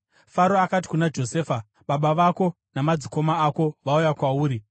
Faro akati kuna Josefa, “Baba vako namadzikoma ako vauya kwauri,